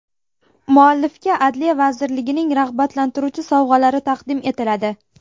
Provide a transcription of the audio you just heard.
Muallifga Adliya vazirligining rag‘batlantiruvchi sovg‘alari taqdim etiladi.